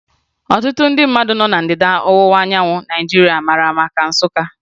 Ọtụtụ ndị nọ ná Ndịda Ọwụwa anyanwụ Naijiria mara maka Nsụka